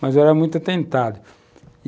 Mas eu era muito atentado.